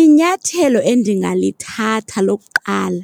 Inyathelo endingalithatha lokuqala.